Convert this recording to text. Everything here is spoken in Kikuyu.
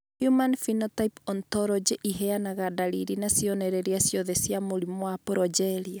Human Phenotype Ontology ĩheanaga ndariri na cionereria ciothe cia mũrimũ wa Progeria